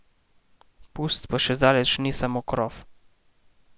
Pust pa še zdaleč ni samo krof!